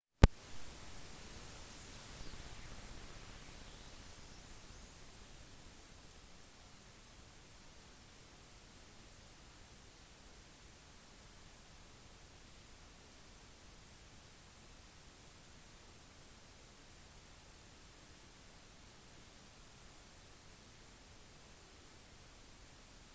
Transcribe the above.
al gore og general tommy franker deler seg sine favorittnyheter uformelt nyheten om gore ble skrevet da the onion meldte at han og tipper hadde sine livs beste sex etter hans electoral college-nederlag i år 2000